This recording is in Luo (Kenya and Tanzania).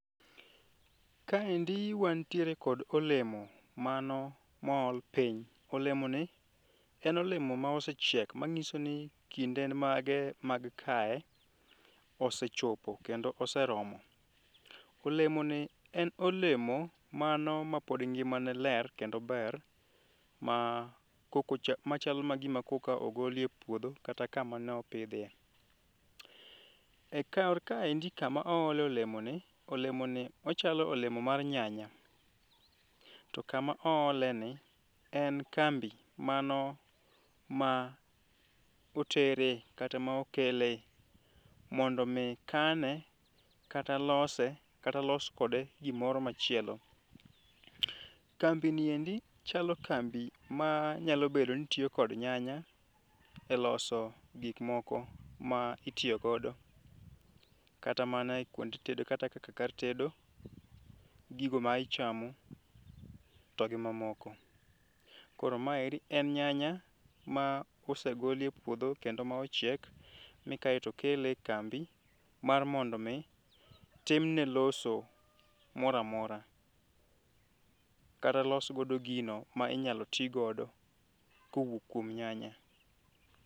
Kaendi wan tiere kod olemo mano mool piny, olemoni en olemo ma osechiek ma nyiso ni kinde en mage mag kae osechopo kendo oseromo. Olemoni en olemo mano ma pod ngimane ler kendo ober ma koka ma chalo mana gima koka ogolie e puodho kata kama ne opidhie. Ekar kaendi kama oole olemoni, olemoni ochalo olemo mar nyanya, to kama ooleni en kambi mano ma otere kata ma okele mondo mi kane kata lose kata los kode gimoro machielo. Kambi ni endi chalo kambi ma nyalo bedo ni tiyo kod nyanya e loso gik moko ma itiyo godo kata mana e kuonde tedo kata mana kaka kar tedo gigo ma ichamo to gi mamoko. Koro maendi en nyanya ma osegolie puodho, kendo ma ochiek mikae to okele e kambi mar mondo mi timne loso moro amora, kata los godo gino ma inyalo ti godo ka owuok kuom nyanya.